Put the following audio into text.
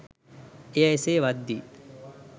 එය එසේ වද්දී